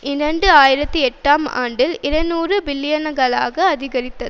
இரண்டு ஆயிரத்தி எட்டாம் ஆண்டில் இருநூறு பில்லியன்களாக அதிகரித்தது